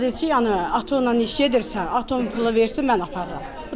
Bu da deyir ki, yəni atınla iş gedirsə, atın pulu versə mən aparıram.